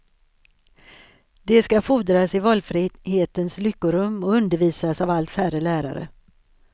De skall frodas i valfrihetens lyckorum och undervisas av allt färre lärare.